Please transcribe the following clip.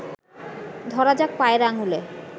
ধরা যাক পায়ের আঙুলে